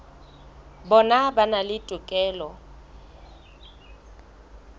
bona ba na le tokelo